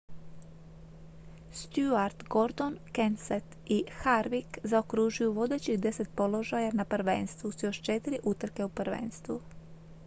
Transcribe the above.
stewart gordon kenseth i harvick zaokružuju vodećih deset položaja na prvenstvu s još četiri utrke u prvenstvu